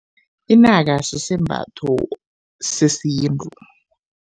Inaka sisembatho sesintu.